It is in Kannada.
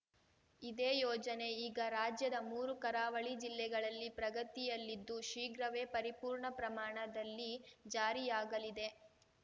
ಇದೇ ಯೋಜನೆ ಈಗ ರಾಜ್ಯದ ಮೂರು ಕರಾವಳಿ ಜಿಲ್ಲೆಗಳಲ್ಲಿ ಪ್ರಗತಿಯಲ್ಲಿದ್ದು ಶೀಘ್ರವೇ ಪರಿಪೂರ್ಣ ಪ್ರಮಾಣದಲ್ಲಿ ಜಾರಿಯಾಗಲಿದೆ